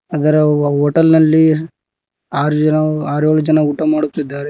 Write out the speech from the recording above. ಅದರ ಉವ್ವ ಹೋಟೆಲ್ ನಲ್ಲಿ ಆರ್ ಜನ ಆರೇಳು ಜನ ಊಟ ಮಾಡುತ್ತಿದ್ದಾರೆ.